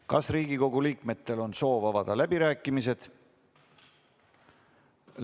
Kas Riigikogu liikmetel on soov avada läbirääkimised?